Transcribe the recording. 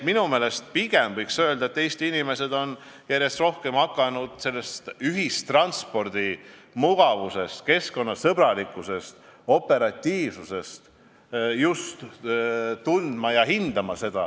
Minu meelest võiks pigem öelda, et Eesti inimesed on järjest rohkem hakanud hindama ühistranspordi mugavust, keskkonnasõbralikkust ja operatiivsust.